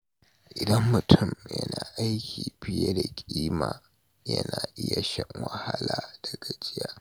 Idan mutum yana aiki fiye da ƙima, yana iya shan wahala da gajiya.